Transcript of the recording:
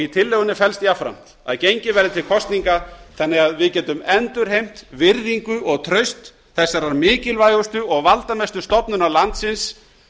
í tillögunni felst jafnframt að gengið verði til kosninga þannig að við getum endurheimt virðingu og traust þessarar mikilvægustu og valdamestu stofnunar landsins